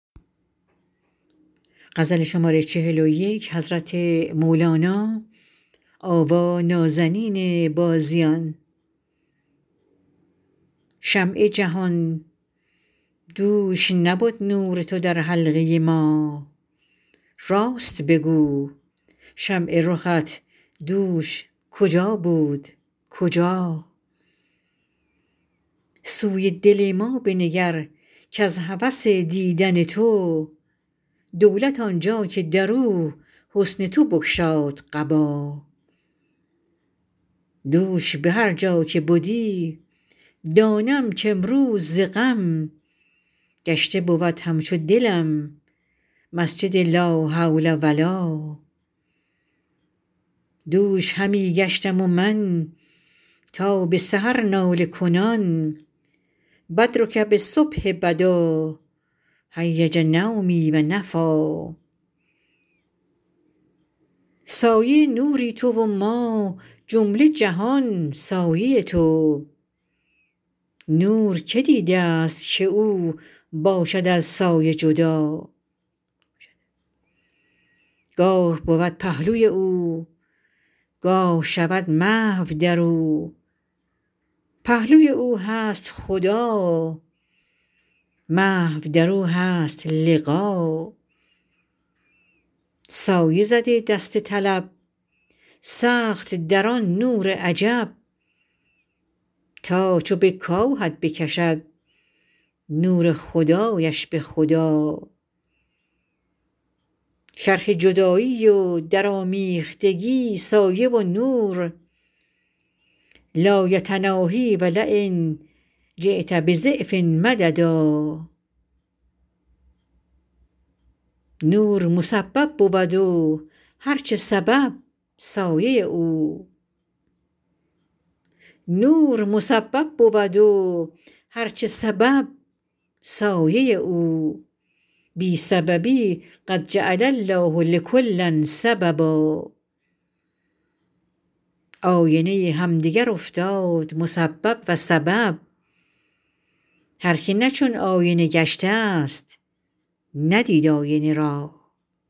شمع جهان دوش نبد نور تو در حلقه ما راست بگو شمع رخت دوش کجا بود کجا سوی دل ما بنگر کز هوس دیدن تو دولت آن جا که در او حسن تو بگشاد قبا دوش به هر جا که بدی دانم کامروز ز غم گشته بود همچو دلم مسجد لا حول و لا دوش همی گشتم من تا به سحر ناله کنان بدرک بالصبح بدا هیج نومي و نفیٰ سایه نوری تو و ما جمله جهان سایه تو نور کی دیدست که او باشد از سایه جدا گاه بود پهلوی او گاه شود محو در او پهلوی او هست خدا محو در او هست لقا سایه زده دست طلب سخت در آن نور عجب تا چو بکاهد بکشد نور خدایش به خدا شرح جدایی و درآمیختگی سایه و نور لا یتناهیٰ و لین جیت بضعف مددا نور مسبب بود و هر چه سبب سایه او بی سببی قد جعل الله لکل سببا آینه همدگر افتاد مسبب و سبب هر کی نه چون آینه گشتست ندید آینه را